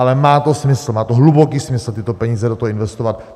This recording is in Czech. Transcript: Ale má to smysl, má to hluboký smysl, tyto peníze do toho investovat.